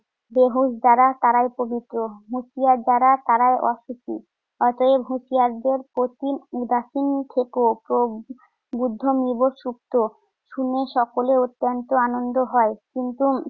গৃহস্ত যারা তারাইতো দ্বিতীয়। হুঁশিয়ার যারা তারাই অখুশি। অতএব হুঁশিয়ারদের প্রতি উদাসীন থেকেও প্রভ বুদ্ধাং নিব সুপ্ত, শুনে সকলে অত্যন্ত আনন্দ হয়। কিন্তু